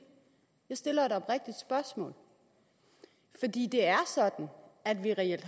jeg stiller et oprigtigt spørgsmål fordi det er sådan at vi reelt